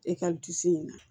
E ka dusu in na